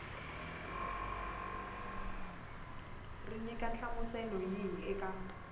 ri nyika nhlamuselo yihi eka